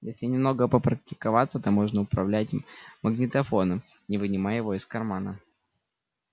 если немного попрактиковаться то можно управлять магнитофоном не вынимая его из кармана